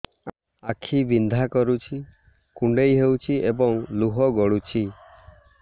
ଆଖି ବିନ୍ଧା କରୁଛି କୁଣ୍ଡେଇ ହେଉଛି ଏବଂ ଲୁହ ଗଳୁଛି